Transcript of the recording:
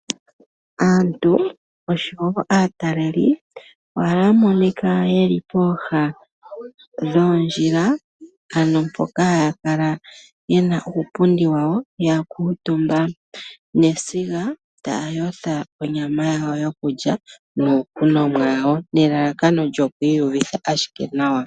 Aataleli po ohaya monika ye li pooha dhoondjila, ano mpoka haya kala ye na uupundi wawo ya kuutumba nesiga taa yotha onyama yawo yokulya niikunwa yawo nelalakano lyoku iyuvitha ashike nawa.